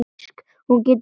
Hún getur fengið lykil.